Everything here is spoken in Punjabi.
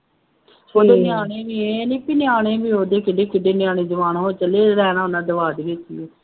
ਉਹਦੇ ਨਿਆਣੇ ਵੀ ਇਹ ਨਹੀਂ ਕਿ ਨਿਆਣੇ ਵੀ ਉਹਦੇ ਕਿੱਡੇ ਕਿੱਡੇ ਨਿਆਣੇ ਜਵਾਨ ਹੋ ਚੱਲੇ, ਰਹਿਣਾ ਉਹਨਾ ਵਿੱਚ ਹੈ